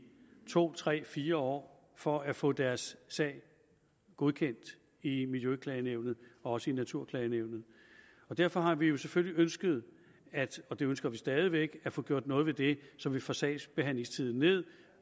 to tre fire år for at få deres sag godkendt i miljøklagenævnet og også i naturklagenævnet og derfor har vi vi selvfølgelig ønsket og det ønsker vi stadig væk at få gjort noget ved det så vi får sagsbehandlingstiden ned